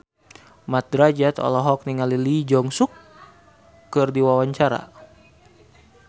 Mat Drajat olohok ningali Lee Jeong Suk keur diwawancara